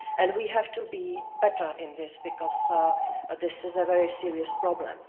We have to be better in this, because this is a very serious problem.